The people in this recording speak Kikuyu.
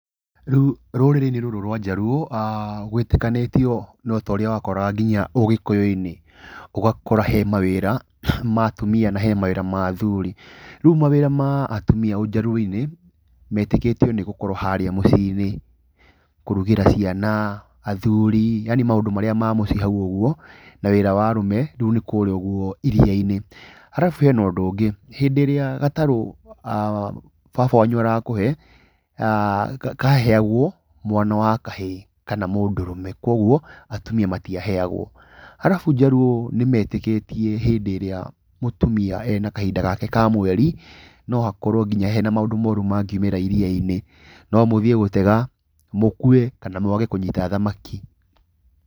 Rĩu rũrĩrĩ-inĩ rũrũ rwa njaruo gwĩtĩkanĩtio no ta ũria wakoraga nginya ũgĩkũyũ-inĩ, ũgakora he mawĩra ma atumia na he mawĩra ma athuri. Rĩu mawĩra ma atumia njaruo-inĩ metĩkĩtio nĩ gũkorwo harĩa mũciĩ-inĩ, kũrugĩra ciana athuri yani mawĩra marĩa ma mũciĩ hau ũguo. Na wĩra wa arũme rĩu nĩkũrĩa ũguo iria-inĩ. Arabu, hena ũndũ ũngĩ rĩrĩa gatarũ, baba wanyu arakũhe kaheagwo mwana wa kahĩĩ kana mũndũrũme, koguo atumia matiaheagwo. Arabu, njaruo nĩ metĩkĩtie hĩndĩ ĩrĩa mũtumia ena kahinda gake ka mweri, no hakorwo nginya hena maũndũ moru mangiumĩra iria-inĩ, no mũthiĩ gũtega mũkue kana mwage kũnyita thamaki.